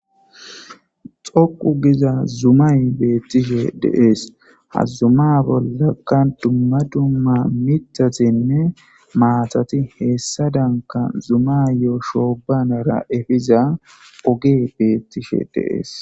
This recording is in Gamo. Dhoqu giza zumay beettishe deees hazzuma bollakka dumma dumma mitatenne maatati heessa danka zumayoo shoobanara efiza oge beettishe deees